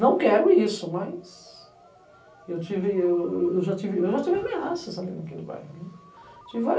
Não quero isso, mas eu tive, eu já tive, eu já tive ameaças ali no bairro, né. Tive vári